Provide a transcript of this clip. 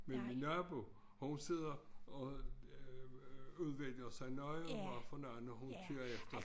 Men min nabo hun sidder og udvælger sig nøje hvad for noget når hun kører efter